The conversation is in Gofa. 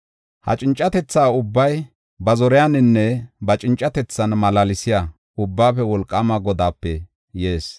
Ha cincatethaa ubbay ba zoriyaninne ba cincatethan malaalsiya Ubbaafe Wolqaama Godaape yees.